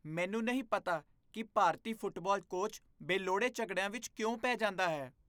ਮੈਨੂੰ ਨਹੀਂ ਪਤਾ ਕਿ ਭਾਰਤੀ ਫੁਟਬਾਲ ਕੋਚ ਬੇਲੋੜੇ ਝਗੜਿਆਂ ਵਿੱਚ ਕਿਉਂ ਪੈ ਜਾਂਦਾ ਹੈ।